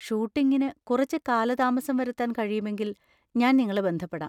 ഷൂട്ടിംഗിന് കുറച്ച് കാലതാമസം വരുത്താൻ കഴിയുമെങ്കിൽ ഞാൻ നിങ്ങളെ ബന്ധപ്പെടാം.